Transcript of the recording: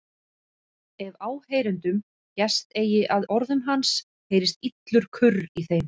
Ef áheyrendum gest eigi að orðum hans heyrist illur kurr í þeim.